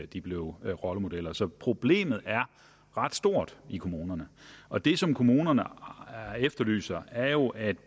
de blev rollemodeller så problemet er ret stort i kommunerne og det som kommunerne efterlyser er jo at